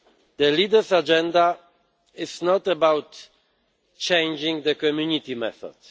The leaders' agenda is not about changing the Community method.